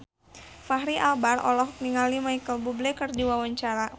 Fachri Albar olohok ningali Micheal Bubble keur diwawancara